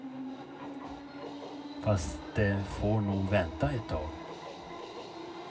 Fast det får nog vänta ett tag.